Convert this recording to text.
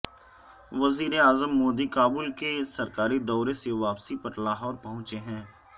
وزیراعظم مودی کابل کے سرکاری دورے سے واپسی پر لاہور پہنچے ہیں